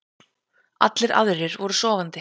Allir aðrir voru sofandi.